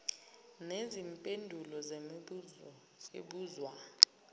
nezimpendulo zemibuzo ebuzwa